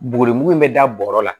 Buguri in bɛ da bɔrɔ la